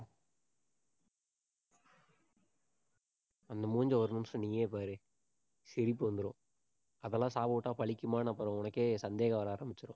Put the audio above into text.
அந்த மூஞ்சியை ஒரு நிமிஷம் நீயே பாரு. சிரிப்பு வந்திரும். அதெல்லாம் சாபம் விட்டா பலிக்குமான்னு அப்புறம் உனக்கே சந்தேகம் வர ஆரம்பிச்சிடும்